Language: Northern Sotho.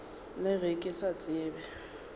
le ge ke sa tsebe